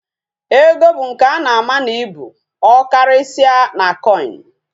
Ego bu nke ana ama na ibu, okarisia na coin